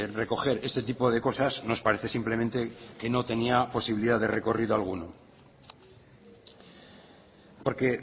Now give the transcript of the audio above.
recoger este tipo de cosas nos parece simplemente que no tenía posibilidad de recorrido alguno porque